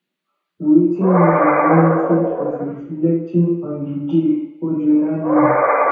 wetin be di benefit of reflecting on di day or journaling